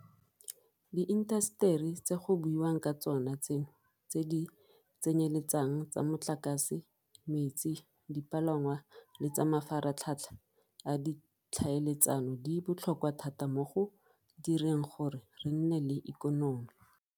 Diintaseteri tse go buiwang ka tsona tseno tse di tsenyeletsang tsa motlakase, metsi, dipalangwa le tsa mafaratlhatlha a ditlhaeletsano di botlhokwa thata mo go direng gore re nne le ikonomi.